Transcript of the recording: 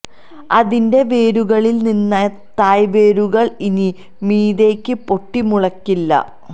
അതിന്റെ വേരുകളില് നിന്ന് തായ് വേരുകള് ഇനി മീതേക്ക് പൊട്ടി മുളയ്ക്കില്ല